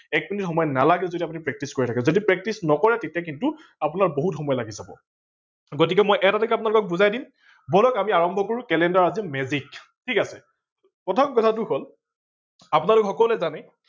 এক মিনিট সময় নালাগেও যদি আপোনি practice কৰি থাকে যদি practice নকৰে তেতিয়া কিন্তু আপোনাৰ বহুত সময় লাগি যাব। গতিকে মই এটা এটাকে আপোনালোকক বুজাই দিম, বলক আমি আৰম্ভ কৰো calender আজি magic ঠিক আছে প্ৰথম কথাটো হল আপোনালোক সকলোৱে জানে